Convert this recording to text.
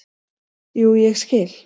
"""Jú, ég skil."""